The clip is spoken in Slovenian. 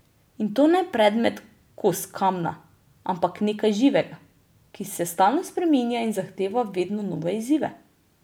In to ne predmet, kos kamna, ampak nekaj živega, ki se stalno spreminja in zahteva vedno nove izzive.